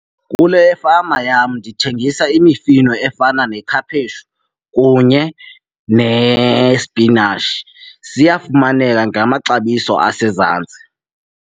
Kule fama yam ndithengisa imifino efana nekhaphetshu kunye nesipinatshi. Ziyafumaneka ngamaxabiso asezantsi.